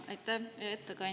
Aitäh!